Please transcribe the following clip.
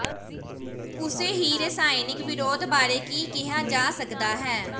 ਉਸੇ ਹੀ ਰਸਾਇਣਕ ਵਿਰੋਧ ਬਾਰੇ ਕੀ ਕਿਹਾ ਜਾ ਸਕਦਾ ਹੈ